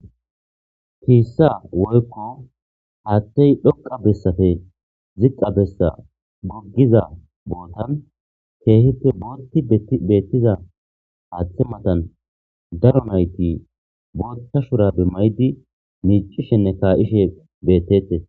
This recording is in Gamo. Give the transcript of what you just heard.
Piissa woykko haattey dhoqa bessafe zixa bessa goggiza bootan keehite bolti beettiza aaththe matan daro nayti boolta shurabe maydi miicishenne kaayishe bettetes